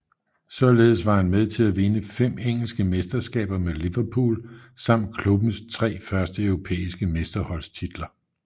Således var han med til at vinde fem engelske mesterskaber med Liverpool samt klubbens tre første europæiske mesterholdstitler